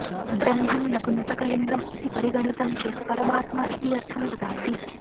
ब्रह्मन् नपुंसकलिङ्गम् इति परिगणितं चेत् परमात्मा इति अर्थं ददाति